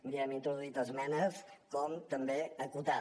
miri hi hem introduït esmenes com també acotar